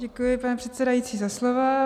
Děkuji, pane předsedající, za slovo.